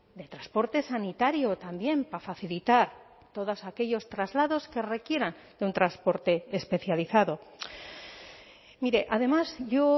de transporte sanitario también para facilitar todos aquellos traslados que requieran de un transporte especializado mire además yo